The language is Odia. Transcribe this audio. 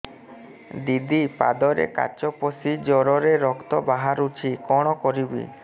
ଦିଦି ପାଦରେ କାଚ ପଶି ଜୋରରେ ରକ୍ତ ବାହାରୁଛି କଣ କରିଵି